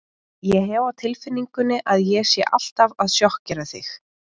Ég hef á tilfinningunni að ég sé alltaf að sjokkera þig.